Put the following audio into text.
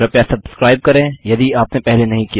कृपया सब्स्क्राइब करें यदि आपने पहले नहीं किया है